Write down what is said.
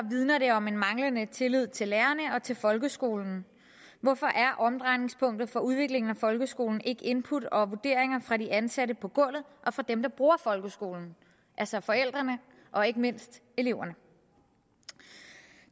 vidner det om en manglende tillid til lærerne og til folkeskolen hvorfor er omdrejningspunktet for udviklingen af folkeskolen ikke input og vurderinger fra de ansatte på gulvet og fra dem der bruger folkeskolen altså forældrene og ikke mindst eleverne